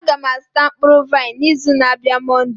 Aga m azụta mkpụrụ vaịn n'izu na-abịa Monday.